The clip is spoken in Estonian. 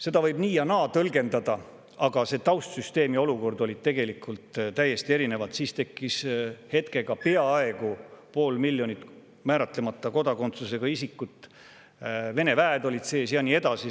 Seda võib tõlgendada nii ja naa, aga taustsüsteem ja olukord olid täiesti erinevad, sest siis tekkis hetkega peaaegu pool miljonit määratlemata kodakondsusega isikut, Vene väed olid sees ja nii edasi.